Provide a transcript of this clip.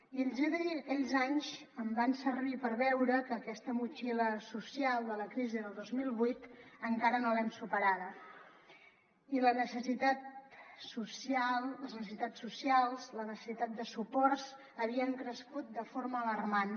i els hi he de dir que aquells anys em van servir per veure que aquesta motxilla social de la crisi del dos mil vuit encara no l’hem superada i les necessitats socials la necessitat de suports havien crescut de forma alarmant